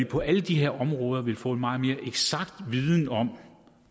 på alle de her områder vil få meget mere eksakt viden om